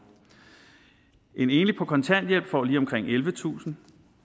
en enlig på kontanthjælp får lige omkring ellevetusind